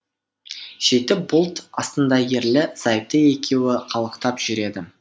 сөйтіп бұлт астында ерлі зайыпты екеуі қалықтап жүреді